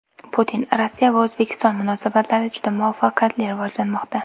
Putin: Rossiya va O‘zbekiston munosabatlari juda muvaffaqiyatli rivojlanmoqda.